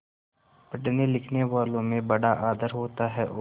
पढ़नेलिखनेवालों में बड़ा आदर होता है और